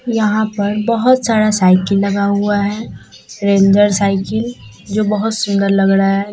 यहां पर बहोत सारा साइकिल लगा हुआ है रेंजर साइकिल जो बहोत सुंदर लग रहा है।